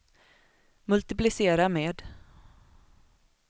multiplicera med